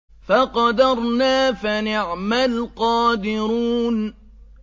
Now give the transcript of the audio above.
فَقَدَرْنَا فَنِعْمَ الْقَادِرُونَ